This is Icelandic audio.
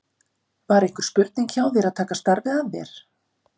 Var einhver spurning hjá þér að taka starfið að þér?